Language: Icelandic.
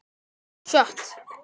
Þér eruð svei mér maður með mönnum.